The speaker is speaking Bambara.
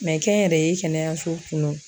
kɛnyɛrɛye kɛnɛyaso kun don